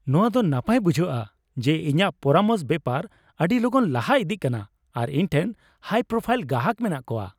ᱱᱚᱶᱟ ᱫᱚ ᱱᱟᱯᱟᱭ ᱵᱩᱡᱷᱟᱹᱜᱼᱟ ᱡᱮ ᱤᱧᱟᱹᱜ ᱯᱚᱨᱟᱢᱚᱥ ᱵᱮᱯᱟᱨ ᱟᱹᱰᱤ ᱞᱚᱜᱚᱱ ᱞᱟᱦᱟ ᱤᱫᱤᱜ ᱠᱟᱱᱟ ᱟᱨ ᱤᱧ ᱴᱷᱮᱱ ᱦᱟᱭᱼᱯᱨᱳᱯᱷᱟᱭᱤᱞ ᱜᱟᱦᱟᱠ ᱢᱮᱱᱟᱜ ᱠᱚᱣᱟ ᱾